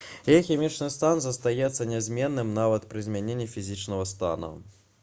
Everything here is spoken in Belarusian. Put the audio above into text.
яе хімічны стан застаецца нязменным нават пры змяненні фізічнага стана